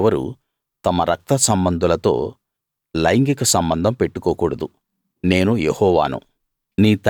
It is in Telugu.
మీలో ఎవరూ తమ రక్తసంబంధులతో లైంగిక సంబంధం పెట్టుకోకూడదు నేను యెహోవాను